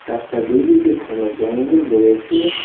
রাস্তার দুই দিকে ঘন জঙ্গল রয়েছে।